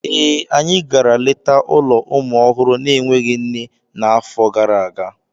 Ee, anyị gara leta ụlọ ụmụ ọhụrụ na-enweghị nne n'afọ gara aga.